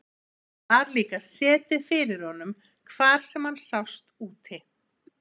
Það var líka setið fyrir honum hvar sem hann sást úti.